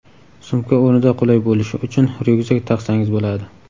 Sumka o‘rnida qulay bo‘lishi uchun ryukzak taqsangiz bo‘ladi.